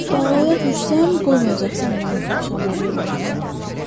Dovğa düşsəm qoymayacaqsan məni dovşanları yemləməyə.